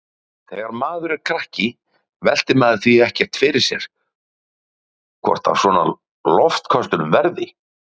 Þegar maður er krakki veltir maður því ekkert fyrir sér hvort af svona loftköstulum verði.